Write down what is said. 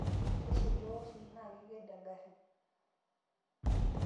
teishiliwa oshi naa kaked engarri